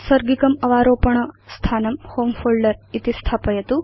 औत्सर्गिकम् अवारोपण स्थानं होमे फोल्डर इति स्थापयतु